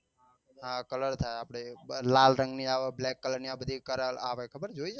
હા કલર થાય આપડે લાલ રંગ ની આવે black કલર ની આવે બધી કલર ની આવે ખબર છે જોઈ છે તમે